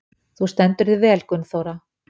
Þú stendur þig vel, Gunnþóra!